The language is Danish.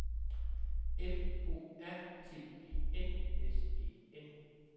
M O R T E N S E N